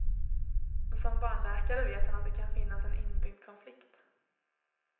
Som barnläkare vet han att det kan finnas en inbyggd konflikt.